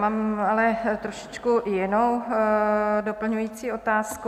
Mám ale trošičku jinou doplňující otázku.